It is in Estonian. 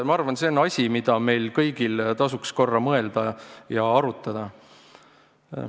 Ma arvan, et see on asi, millele meil kõigil tasuks korra mõelda ja mida arutada.